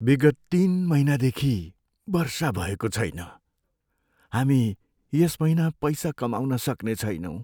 विगत तिन महिनादेखि वर्षा भएको छैन। हामी यस महिना पैसा कमाउन सक्ने छैनौँ।